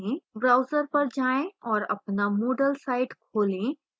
browser पर जाएँ और अपना moodle site खोलें